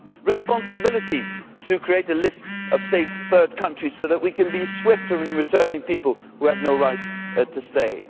responsibility to create a list of safe third countries so that we can be swifter in returning people who have no right to stay